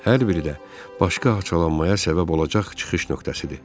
Hər biri də başqa haçalanmaya səbəb olacaq çıxış nöqtəsidir.